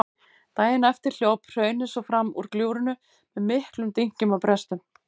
Daginn eftir hljóp hraunið svo fram úr gljúfrinu með miklum dynkjum og brestum.